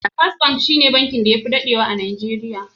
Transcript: Fis ban shi ne bankin da ya fi daɗewa a Najeriya.